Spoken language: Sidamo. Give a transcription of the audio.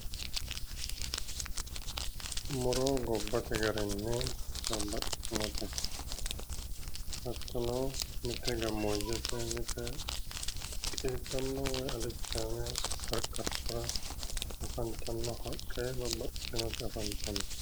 muro gobbate garinni babaxitinote hattono mite gammoojjete mite qiiddanno woyi alichaame qarqartora afantanno haqqe babbaxitinoti afantanno.